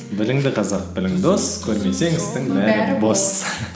біріңді қазақ бірің дос көрмесең істің бәрі бос